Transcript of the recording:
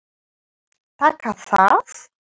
Taka það?